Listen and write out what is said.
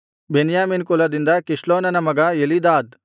ಬೆನ್ಯಾಮೀನ್ ಕುಲದಿಂದ ಕಿಸ್ಲೋನನ ಮಗ ಎಲೀದಾದ್